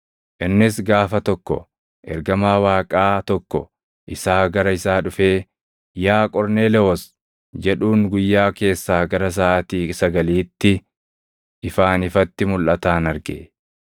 Innis gaafa tokko ergamaa Waaqaa tokko isaa gara isaa dhufee, “Yaa Qorneelewoos!” jedhuun guyyaa keessaa gara saʼaatii sagaliitti ifaan ifatti mulʼataan arge.